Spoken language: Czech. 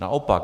Naopak.